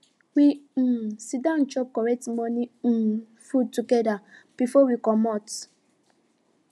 we um siddon chop correct morning um food together before we comot